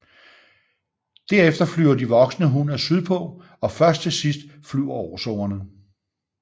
Derefter flyver de voksne hunner sydpå og først til sidst flyver årsungerne